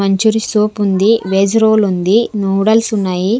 Manchurian soup ఉంది veg roll ఉంది noodles ఉన్నాయి.